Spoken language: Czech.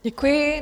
Děkuji.